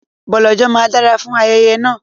Bọ̀lọ̀jọ̀ máa dára fún ayẹyẹ náà.